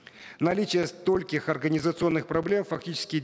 наличие стольких организационных проблем фактически